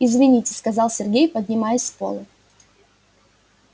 извините сказал сергей поднимаясь с пола